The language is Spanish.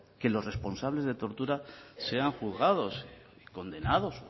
que los responsables de tortura sean juzgados y condenados